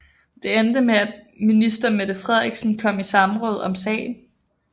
Det endte med at minister Mette Frederiksen kom i samråd om sagen